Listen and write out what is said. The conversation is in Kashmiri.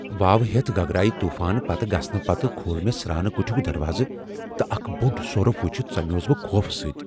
واوٕ ہیتھ گگرایہ طوفان پتہٕ گژھنہٕ پتہٕ کھوٗل مےٚ سرٛانہٕ کٹھیُک دروازٕ تہٕ اکھ بوٚڑ سۄرف وُچھتھ ژمیوس بہٕ خوفہٕ سۭتۍ ۔